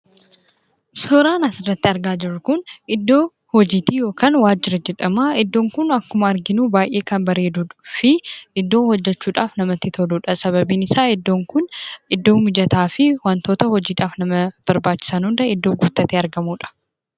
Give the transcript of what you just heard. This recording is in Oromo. Suuraan asirratti argaa jirru kun iddoo hojiiti yookaan waajjira jedhama. Iddoon kun akkuma arginu baay'ee kan bareeduu fi iddoo hojjachuudhaaf namatti toludha. Sababiin isaa iddoon kun iddoo mijataa fi wantoota hojiidhaaf nama barbaachisan hundaa guuttatee iddoo argamuudha.